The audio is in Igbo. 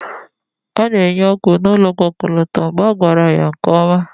a na-enye ọgwụ n'ụlọ ọgwụ ọkọlọtọ mgbe a gwara ya nke ọma